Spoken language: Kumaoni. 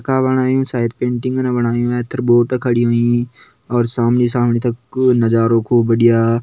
बणायु शायद पेंटिंगन बणायु ऐथर बोट खड़ी होईं सामणी सामणि तक नजारू खूब बढ़िया।